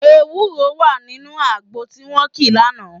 Ewúro wà nínú àgbo tí wọ́n kì lánàá